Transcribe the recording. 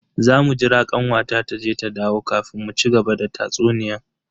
Zamu jira kanwata taje ta dawo kafin mu cigaba da tatsuniyan.